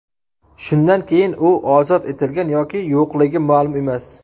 Shundan keyin u ozod etilgan yoki yo‘qligi ma’lum emas.